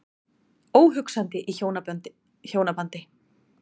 Óhugsandi í hjónabandi.